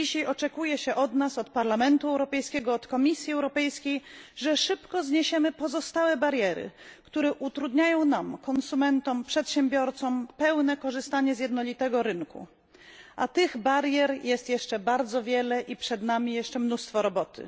Dzisiaj oczekuje się od nas od Parlamentu Europejskiego, od Komisji Europejskiej że szybko zniesiemy pozostałe bariery, które utrudniają nam konsumentom, przedsiębiorcom pełne korzystanie z jednolitego rynku. A tych barier jest jeszcze wiele i przed nami jeszcze mnóstwo roboty.